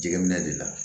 Jɛgɛminɛ de la